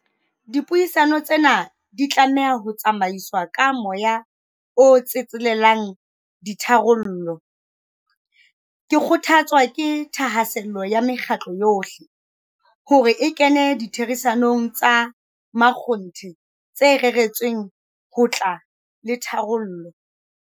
Dipuisano tsena di tlameha ho tsamaiswa ka moya o tsetselelang ditharollo. Ke kgothatswa ke thahasello ya mekgatlo yohle, hore e kene ditherisanong tsa makgonthe tse reretsweng ho tla le tharollo.